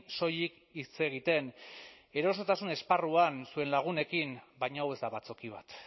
soilik hitz egiten erosotasun esparruan zuen lagunekin baina hau ez da batzoki bat